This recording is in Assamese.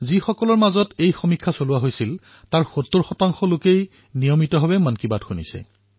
যিসকল লোকৰ মাজত এই সৰ্বেক্ষণ চলোৱা হৈছিল তাৰে প্ৰায় ৭০ই নিয়মিতভাৱে মন কী বাত শুনে